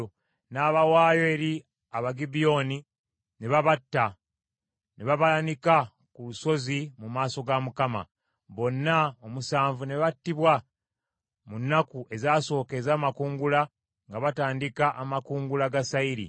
N’abawaayo eri Abagibyoni, ne babatta ne babaanika ku lusozi mu maaso ga Mukama . Bonna omusanvu ne battibwa mu nnaku ezaasooka ez’amakungula nga batandika amakungula ga sayiri.